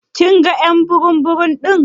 Kin gan y'an burum burum din?: